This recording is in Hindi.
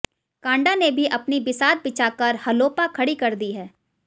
कांडा ने भी अपनी बिसात बिछाकर हलोपा खडी कर दी है